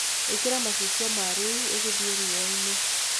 Ikiraa macicio ma riu ugithie riua-ini